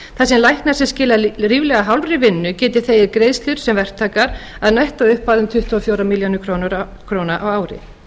sem læknar sem skila ríflega hálfri vinnu geti þegið greiðslur sem verktakar að nettóupphæð um tuttugu og fjórar milljónir króna á ári